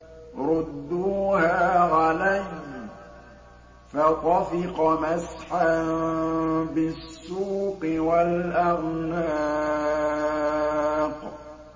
رُدُّوهَا عَلَيَّ ۖ فَطَفِقَ مَسْحًا بِالسُّوقِ وَالْأَعْنَاقِ